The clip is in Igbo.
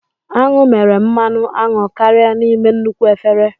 Aṅụ mere mmanụ aṅụ karịa n'ime nnukwu efere